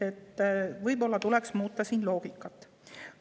Võib-olla tuleks seda loogikat muuta.